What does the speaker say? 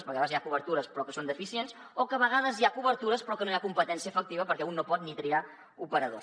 perquè a vegades hi ha cobertures però que són deficients o a vegades hi ha cobertures però no hi ha competència efectiva perquè un no pot ni triar operadors